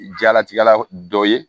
Jalatigɛla dɔ ye